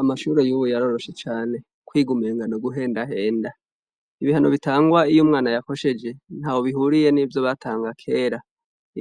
Amashure yubu yaroroshe cane kwiga n'uguhenda henda ibihano bitangwa iyo umwana yakosheje ntaho bihuriye n'ivyo batanga kera